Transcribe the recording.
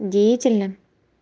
деятельность